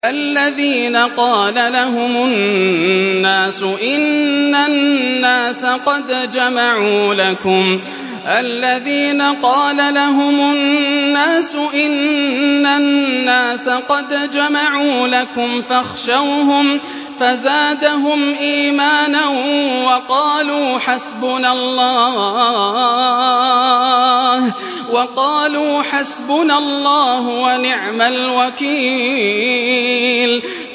الَّذِينَ قَالَ لَهُمُ النَّاسُ إِنَّ النَّاسَ قَدْ جَمَعُوا لَكُمْ فَاخْشَوْهُمْ فَزَادَهُمْ إِيمَانًا وَقَالُوا حَسْبُنَا اللَّهُ وَنِعْمَ الْوَكِيلُ